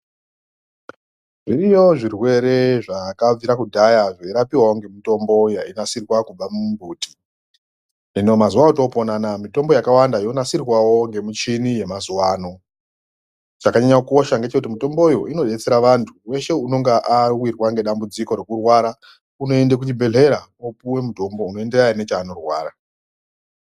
Zviriyo zvirwere zvakabvira kudhaya zvairapiwawo ngemitombo yainasirwa kubva mumbuti. Hino mazuwa otopona anaya mitombo yonasirwawo ngemichini yemazuwano. Chakanyanye kukosha ngechekuti mitomboyo inodetsera vantu weshe unenge awirwarwa nedambudziko rekurwara unoende kuchibhehlera opuwa mutombo unoenderana nechanorwara.